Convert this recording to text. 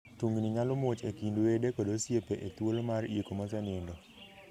Tungni nyalo muoch e kind wede kod osiepe e thuolo mar iko mosenindo.